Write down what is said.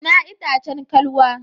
Ina itacen kalwa?